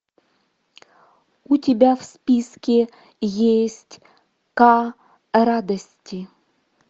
у тебя в списке есть ка радости